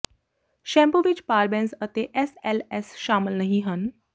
shampoo ਵਿੱਚ parabens ਅਤੇ S L S ਸ਼ਾਮਲ ਨਹੀਂ ਹਨ